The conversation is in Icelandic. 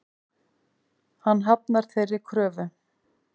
Hann hafnar þeirri kröfu.